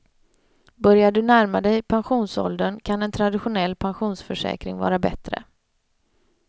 Börjar du närma dig pensionsåldern kan en traditionell pensionsförsäkring vara bättre.